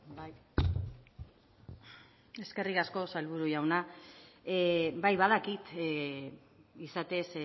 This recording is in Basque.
bai eskerrik asko sailburu jauna bai badakit izatez